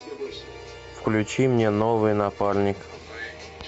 включи мне новый напарник